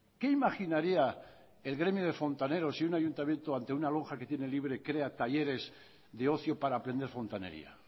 qué imaginaría el gremio de fontaneros si un ayuntamiento ante una lonja que tiene libre crea talleres de ocio para aprender fontanería